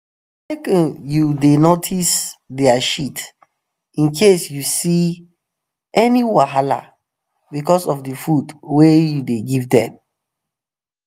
um make um u da notice their shit incase u go see any wahala because of the food wa u the give them